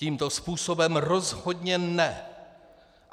Tímto způsobem rozhodně ne!